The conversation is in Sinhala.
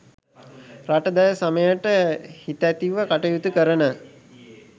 රට දැය සමයට හිතැතිව කටයුතු කරන